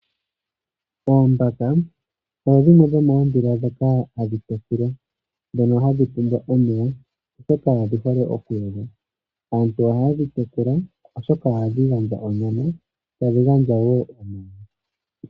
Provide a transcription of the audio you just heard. Oombaka odho dhimwe dhomoondhila ndhoka hadhi tekulwa ndhono hadhi pumbwa omeya, oshoka odhi hole okuyoga. Aantu ohaye dhi tekula, oshoka ohadhi gandja onyama, tadhi gandja wo iilonga.